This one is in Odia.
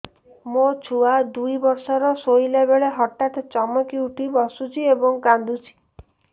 ମୋ ଛୁଆ ଦୁଇ ବର୍ଷର ଶୋଇଲା ବେଳେ ହଠାତ୍ ଚମକି ଉଠି ବସୁଛି ଏବଂ କାଂଦୁଛି